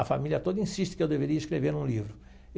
A família toda insiste que eu deveria escrever um livro.